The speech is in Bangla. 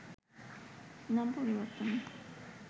নাম পরিবর্তন